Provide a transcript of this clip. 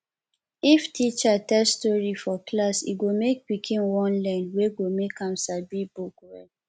if teacher tell stori for class e go make pikin wan learn wey go make am sabi book well